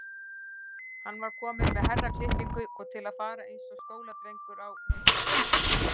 Hann var kominn með herraklippingu og til fara eins og skóladrengur á hausti.